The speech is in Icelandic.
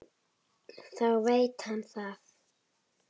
Þá veit hann það.